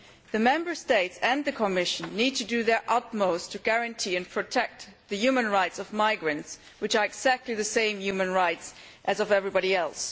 The Member States and the Commission need to do their utmost to guarantee and protect the human rights of migrants, which are exactly the same human rights as those of everybody else.